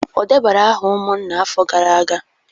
O debara aha umunna afo gara aga?